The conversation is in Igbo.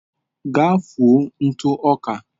Gaa fụọ ntụ ọka.